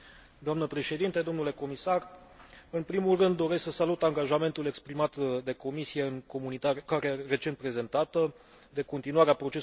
În primul rând doresc să salut angajamentul exprimat de Comisie, în comunicarea recent prezentată, de continuare a procesului de simplificare a politicii agricole comune.